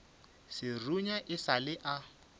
serunya e sa le a